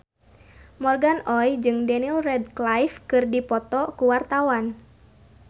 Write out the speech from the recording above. Morgan Oey jeung Daniel Radcliffe keur dipoto ku wartawan